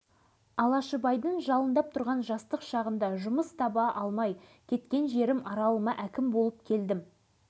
ол жайында айтпас бұрын менің назарымды ерекше аударған оның мына бір қасиетіне арнайы тоқтала кеткенді жөн көрдім